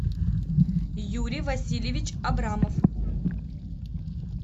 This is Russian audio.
юрий васильевич абрамов